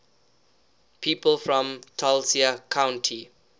people from tulcea county